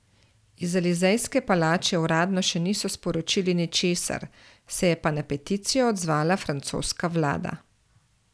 Iz Elizejske palače uradno še niso sporočili ničesar, se je pa na peticijo odzvala francoska vlada.